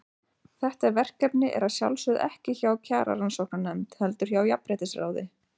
Þetta verkefni er að sjálfsögðu ekki hjá Kjararannsóknarnefnd, heldur hjá Jafnréttisráði.